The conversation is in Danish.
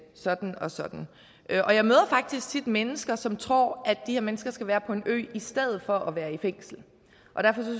sådan og sådan og jeg møder faktisk tit mennesker som tror at de her mennesker skal være på en ø i stedet for at være i fængsel